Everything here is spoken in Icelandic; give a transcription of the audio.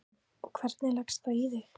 Karen: Og, hvernig leggst það í þig?